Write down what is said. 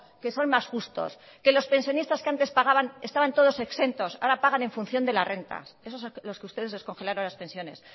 que son más justos que los pensionistas que antes pagaban estaban todos exentos ahora pagan en función de las rentas esos a los que ustedes les congelaron las pensiones